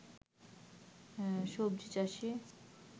সবজি চাষী